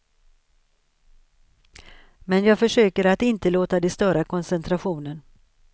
Men jag försöker att inte låta det störa koncentrationen.